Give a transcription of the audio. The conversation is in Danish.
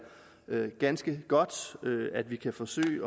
ganske godt at vi kan forsøge